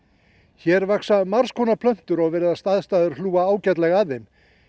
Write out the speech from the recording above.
hér vaxa margs konar plöntur og virðast aðstæður hlúa ágætlega að þeim